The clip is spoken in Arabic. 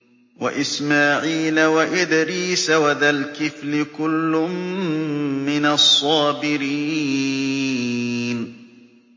وَإِسْمَاعِيلَ وَإِدْرِيسَ وَذَا الْكِفْلِ ۖ كُلٌّ مِّنَ الصَّابِرِينَ